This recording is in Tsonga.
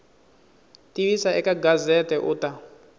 tivisa eka gazette u ta